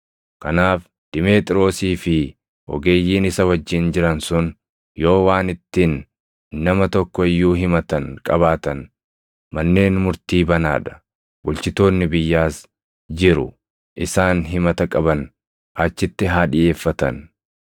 Kanaaf Dimeexiroosii fi ogeeyyiin isa wajjin jiran sun yoo waan ittiin nama tokko iyyuu himatan qabaatan manneen murtii banaa dha; bulchitoonni biyyaas jiru. Isaan himata qaban achitti haa dhiʼeeffatan.